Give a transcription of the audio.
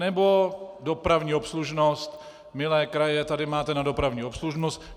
Nebo dopravní obslužnost: milé kraje, tady máte na dopravní obslužnost.